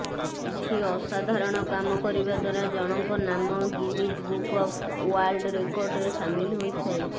କିଛି ଅସାଧାରଣ କାମ କରିବା ଦ୍ୱାରା ଜଣଙ୍କ ନାମ ଗିନିଜ୍ ବୁକ୍ ଅଫ୍ ଓ୍ବାର୍ଲ୍ଡ ରେକର୍ଡରେ ସାମିଲ ହୋଇଥାଏ